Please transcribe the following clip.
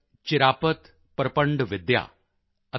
ਚਿਰਾਪਤ ਪ੍ਰਪੰਡਵਿਦਿਆ ਅਤੇ ਡਾ